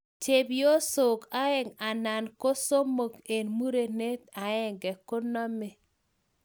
Chepyosok aeng anan somok eng murenet aenge koname